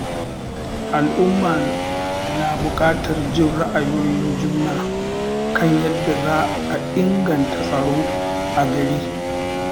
Al'umma na buƙatar jin ra'ayoyin juna kan yadda za a inganta tsaro a gari.